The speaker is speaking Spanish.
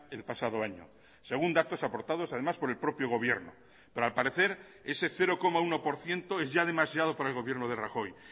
el pasado año según datos aportados además por el propio gobierno pero al parecer ese cero coma uno por ciento es ya demasiado para el gobierno de rajoy